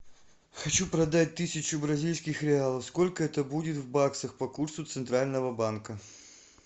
хочу продать тысячу бразильских реалов сколько это будет в баксах по курсу центрального банка